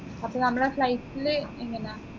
അപ്പൊ നമ്മളെ flight ലു എങ്ങനാ